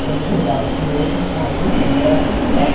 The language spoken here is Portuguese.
Quando jogava com outros países, era Portugal.